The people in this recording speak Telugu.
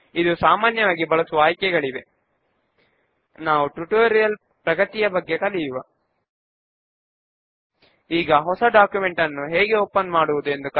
ఇప్పుడు బుక్స్ నోట్ రిటర్న్డ్ క్వెర్రీ ను ఎడిట్ మోడ్ లో ఓపెన్ చేద్దాము